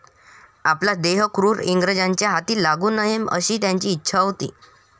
आपला देह क्रूर इंग्रजांच्या हाती लागू नये अशी त्यांची इच्छा होती.